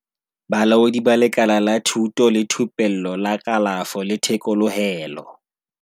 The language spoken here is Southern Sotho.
Bolaodi ba Lekala la Thuto le Thupello la Kalafo le Thekolohelo, HWSETA.